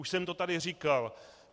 Už jsem to tady říkal.